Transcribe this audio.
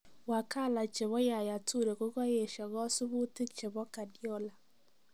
Wakala chebo Yaya Toure kokayeshaa kasubuutik chebo Guardiola